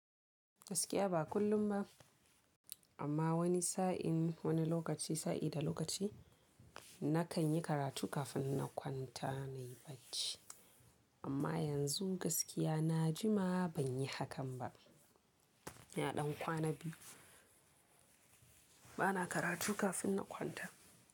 Gaskiya ba kullum ba amma wani sa'in wani lokaci sa'i da lokaci na kan yi karatu kafin na kwanta nayi bacci. Amma yanzu gaskiya na jima ban yi hakan ba. Na ɗan kwana biyu bana karatu kafin na kwanta.